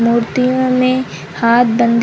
मूर्तियों में हाथ बंधे --